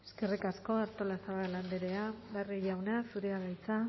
eskerrik asko artolazabal andrea barrio jauna zurea da hitza